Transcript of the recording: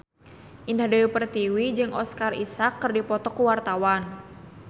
Indah Dewi Pertiwi jeung Oscar Isaac keur dipoto ku wartawan